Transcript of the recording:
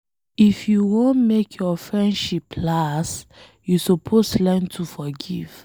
If you wan make your friendship last, you suppose learn to forgive.